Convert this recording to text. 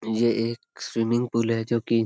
ये एक swimming pool है जो कि --